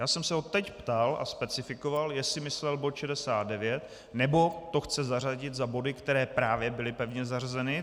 Já jsem se ho teď ptal a specifikoval, jestli myslel bod 69, nebo to chce zařadit za body, které právě byly pevně zařazeny.